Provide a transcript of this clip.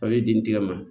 Fali den tigɛ ma